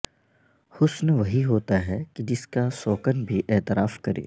حسن وہی ہوتا ہے کہ جس کا سوکن بھی اعتراف کرے